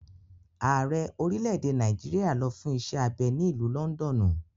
Ààrẹ orílẹ̀-èdè Nàìjíríà lọ fún iṣẹ́ abẹ ní ìlú lọ́ndọ̀nù.